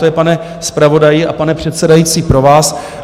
To je, pane zpravodaji a pane předsedající, pro vás.